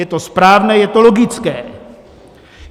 Je to správné, je to logické.